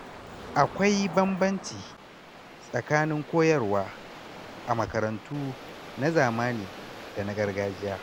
Akwai bambanci tsakanin koyarwa a makarantu na zamani da na gargajiya.